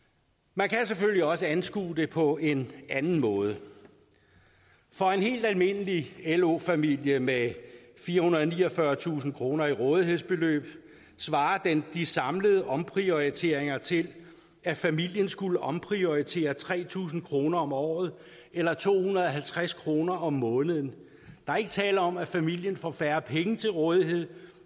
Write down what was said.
man kan selvfølgelig også anskue det på en anden måde for en helt almindelig lo familie med firehundrede og niogfyrretusind kroner i rådighedsbeløb svarer de samlede omprioriteringer til at familien skulle omprioritere tre tusind kroner om året eller to hundrede og halvtreds kroner om måneden der er ikke tale om at familien får færre penge til rådighed